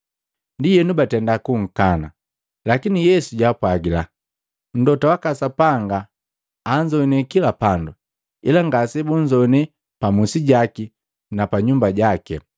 Ndienu baatenda kunkana. Lakini Yesu jaapwaagila, “Mlota waka Sapanga anzoane kila pandu, ila ngasebunzoane pa musi jaki na pa nyumba jaki!”